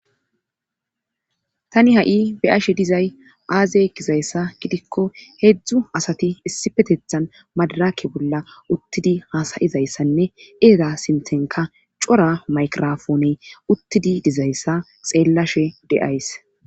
Tani ha'i beyashshe dizay aaze gizayssa gidikko heedzdzu asati issipetethan madarake bolla uttidi haasayizayssanne eera sintenka cora maykrofoone uttidi dizayssa xeellashe de'ays